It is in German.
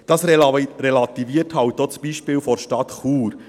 Dies relativiert auch das Beispiel der Stadt Chur: